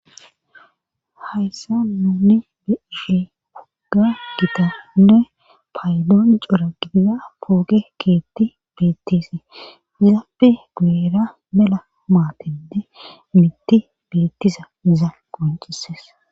hayssa nuni be ishe wogga gita nne paydoon cora gidiza pooge keetti beettise zaappe guera mela maatende mitti beettiza za qoncises